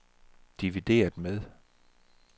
divideret med